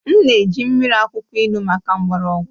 M na-eji mmiri akwụkwọ ilu maka mgbọrọgwụ